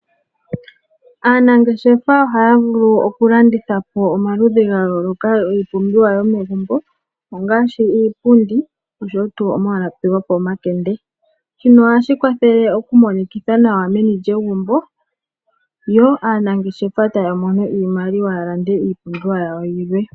Aanangeshefa ohaya vulu oku landitha po omaludhi ga yooloka giipumbiwa yomegumbo, ongaashi iipundi oshowo tuu omalapi gopomakende. Shino ohashi kwathele oku monikitha nawa meni lyegumbo, yo aanangeshefa taya mono iimaliwa ya lande iipumbiwa yawo yilwe.